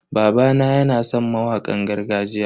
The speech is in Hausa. Babana yana san mawakan gargajiya.